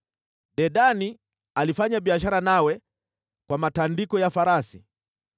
“ ‘Dedani alifanya biashara nawe kwa matandiko ya farasi.